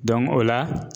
o la